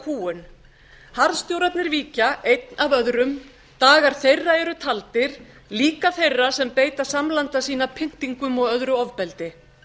áratugakúgun harðstjórarnir víkja einn af öðrum dagar þeirra eru taldir líka þeirra sem beita samlanda sína pyndingum og öðru ofbeldi